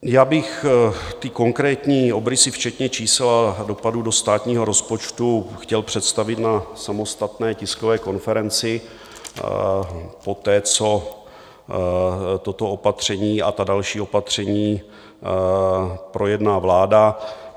Já bych ty konkrétní obrysy včetně čísel a dopadů do státního rozpočtu chtěl představit na samostatné tiskové konferenci poté, co toto opatření a ta další opatření projedná vláda.